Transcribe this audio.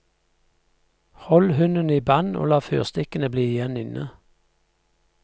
Hold hunden i band og la fyrstikkene bli igjen inne.